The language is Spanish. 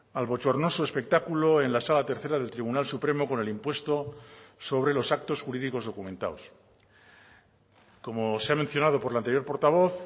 al bochornoso espectáculo en la sala tercera del tribunal supremo con el impuesto sobre los actos jurídicos documentados como se ha mencionado por la anterior portavoz